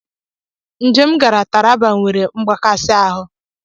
Njem m gara Taraba nwere mgbakasị ahụ.